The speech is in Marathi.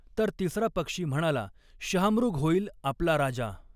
तर तिसरा पक्षी म्हणाला, शहामृग हॊईल आपला राजा.